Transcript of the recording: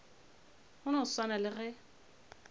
go no swana le ge